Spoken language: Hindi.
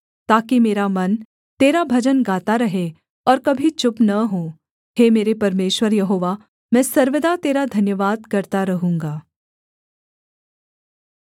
ताकि मेरा मन तेरा भजन गाता रहे और कभी चुप न हो हे मेरे परमेश्वर यहोवा मैं सर्वदा तेरा धन्यवाद करता रहूँगा